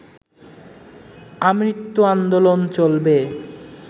আমৃত্যু আন্দোলন চলবে